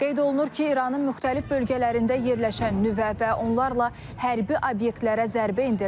Qeyd olunur ki, İranın müxtəlif bölgələrində yerləşən nüvə və onlarla hərbi obyektlərə zərbə endirilib.